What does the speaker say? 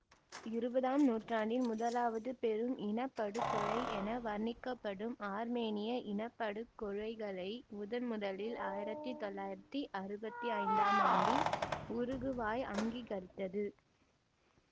இருபதாம் நூற்றாண்டின் முதலாவது பெரும் இன படுகொலை என வர்ணிக்கப்படும் ஆர்மேனிய இனப்படுகொலைகளை முதன் முதலில் ஆயிரத்தி தொள்ளாயிரத்தி அறுபத்தி ஐந்தாம் ஆண்டில் உருகுவாய் அங்கீகரித்தது